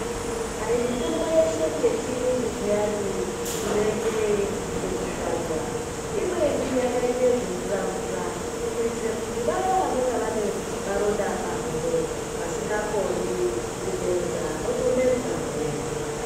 Aiyi mitombo yeshe yechirungu piyani inoitwa yekusvada imweni yakaita zvimvura mvura kuitira Vaya vanenge vane maronda muhuro vanenge vasinga Koni kumedza votomedzawo.